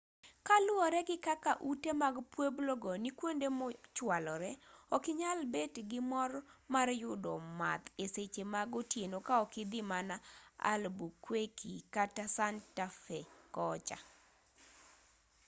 kaluwore gi kaka ute mag pueblo go ni kwonde mochwalore okinyal bet gi mor mar yudo math e seche mag otieno kaok idhi mana albuquerque kata santa fe kocha